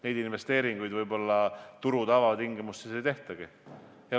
Neid investeeringuid turu tavatingimustes võib-olla ei tehtagi.